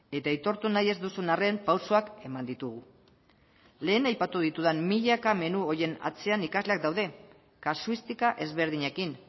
eta aitortu nahi ez duzun arren pausoak eman ditugu lehen aipatu ditudan milaka menu horien atzean ikasleak daude kasuistika ezberdinekin